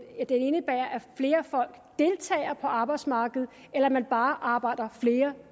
flere folk deltager på arbejdsmarkedet eller om man bare arbejder flere